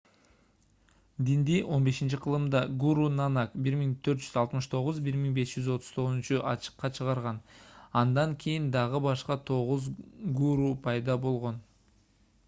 динди 15-кылымда гуру нанак 1469–1539 ачыкка чыгарган. андан кийин дагы башка тогуз гуру пайда болгон